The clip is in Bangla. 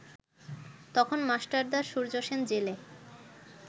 তখন মাস্টারদা সূর্যসেন জেলে